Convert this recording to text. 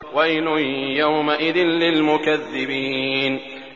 وَيْلٌ يَوْمَئِذٍ لِّلْمُكَذِّبِينَ